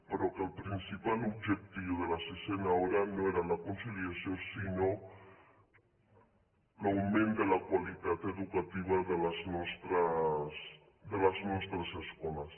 però que el principal objectiu de la sisena hora no era la conciliació sinó l’augment de la qualitat educativa de les nostres escoles